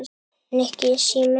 Nikki, síminn